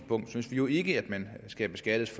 synes vi jo ikke at man skal beskattes